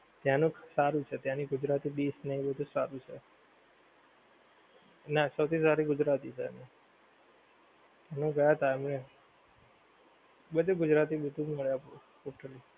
ત્યાંનું સારું છે ત્યાંની ગુજરાતી dish ને બધુ સારું છે. ના સૌથી સારી ગુજરાતી છે એનું ગયા હતા અમે બધુ ગુજરાતી બધુ જ મળે.